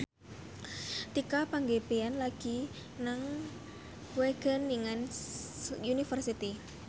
Tika Pangabean lagi sekolah nang Wageningen University